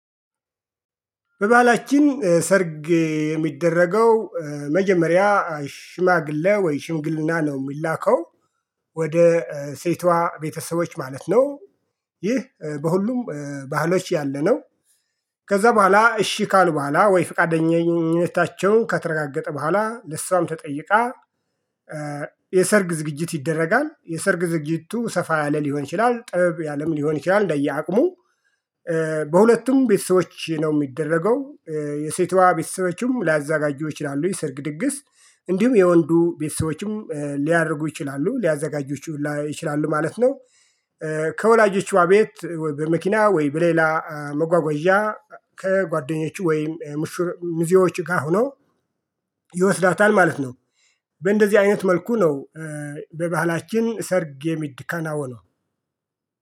በባህላችን ሰርግ የሚደረገው መጀመሪያ ሽማግሌ ወይ ሽምግልና ነው የሚላከው ወደ ሴቷ ቤተሰቦች ማለት ነው። ይህ በሁሉም ባህሎች ያለነው። ከዛ በኋላ እሺ ካሉ በኋላ ወይ ፈቃደኝነታቸው ከተረጋገጠ በኋላ ለሷም ተጠይቃ። የሰርግ ዝግጅት ይደረጋል የሰርግ ዝግጅቱ ሰፋ ያለ ሊሆን ይችላል ጥበብ ያለም ሊሆን ይችላል እንደየ አቅሙ። በሁለቱም ቤተሰቦች ነው የሚደረገው። የሴቷ ቤተሰቦችም ላያዘጋጁ ይችላሉ የሰርግ ድግስ እንዲሁም የወንዱ ቤተሰቦችም ሊያደርጉ ይችላሉ ሊያዘጋጁ ይችላሉ ማለት ነው። ከወላጆቿ ቤት በመኪና ወይ በሌላ መጓጓዣ ከጓደኞች ወይም ሙሽር ሚዚዮች ጋር ሁነው። ይወስዳታል ማለት ነው። በእንደዚህ አይነት መልኩ ነው። በባህላችን ሰርግ የሚከናወነው